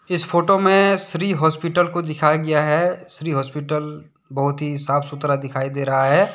इस फोटो में श्री हॉस्पिटल को दिखाया गया है श्री हॉस्पिटल बहुत ही साफ सुथरा दिखाई दे रहा है।